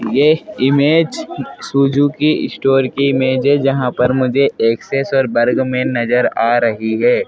यह image Suzuki store की image है जहां पर मुझे एक्सेस और वर्ग में नजर आ रही है।